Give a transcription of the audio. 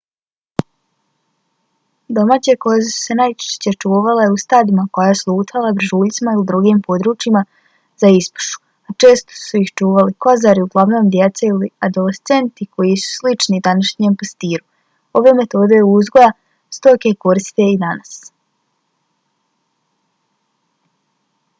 domaće koze su se najčešće čuvale u stadima koja su lutala brežuljcima ili drugim područjima za ispašu a često su ih čuvali kozari uglavnom djeca ili adolescenti koji su slični današnjem pastiru. ove metode uzgoja stoke koriste se i danas